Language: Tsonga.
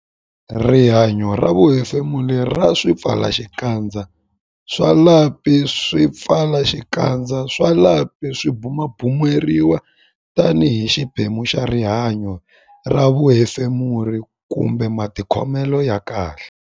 Rihanyo ra vuhefemuri ra swipfalaxikandza swa lapi Swipfalaxikandza swa lapi swi bumabumeriwa tanihi xiphemu xa rihanyo ra vuhefemuri kumbe matikhomelo ya kahle.